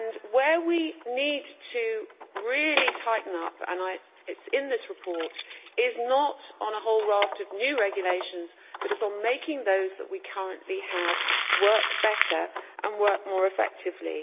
Where we need to really tighten up and this is in the report is not on a whole raft of new regulations but on making those that we currently have work better and more effectively.